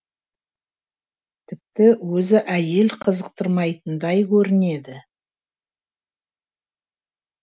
тіпті өзі әйел қызықтырмайтындай көрінеді